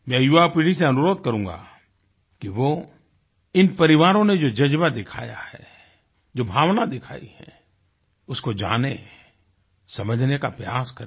मैं युवापीढ़ी से अनुरोध करूँगा कि वो इन परिवारों ने जो जज़्बा दिखाया है जो भावना दिखायी है उसको जानें समझने का प्रयास करें